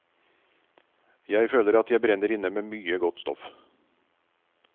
Jeg føler at jeg brenner inne med mye stoff.